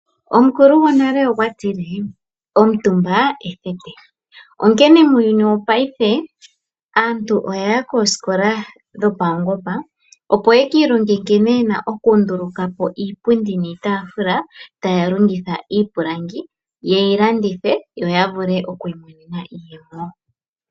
Omukulu gonale okwa tile: "Omutumba ethete," onkene muuyuni wopaife aantu oya ya koosikola dhopaungomba, opo ya ki ilonge nkene ye na okunduluka po iipundi niitaafula taya longitha iipilangi ye yi landithe yo ya vule oku imonena iiyemo.